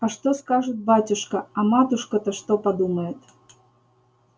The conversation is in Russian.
а что скажет батюшка а матушка-то что подумает